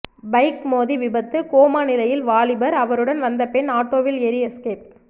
bike மோதி விபத்து coma நிலையில் வாலிபர் அவருடன் வந்த பெண் ஆட்டோவில் ஏறி எஸ்கேப்